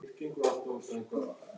Ösp og Leó.